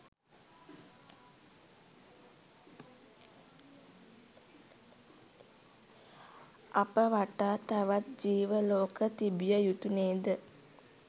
අප වටා තවත් ජීව ලෝක තිබිය යුතු නේද?